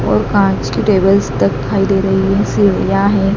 और कांच की टेबल्स तक दिखाई दे रही है सीढ़ियां है।